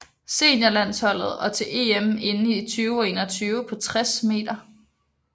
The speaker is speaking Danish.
Seniorlandsholdet og til EM inde i 2021 på 60 m